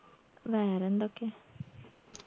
വേറെന്തൊക്കെ